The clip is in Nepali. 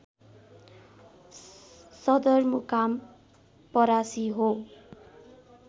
सदरमुकाम परासी हो